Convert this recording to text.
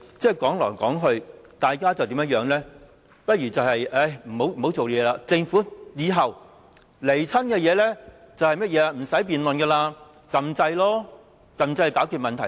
說來說去，大家不如別再工作，以後當政府提交政策上來，我們無經辯論便可按鈕投票，這樣就可以解決問題了。